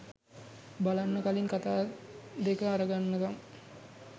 බලන්න කලින් කතා දෙක අරගන්නකම්